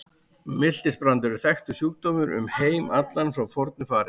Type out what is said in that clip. Miltisbrandur er þekktur sjúkdómur um heim allan frá fornu fari.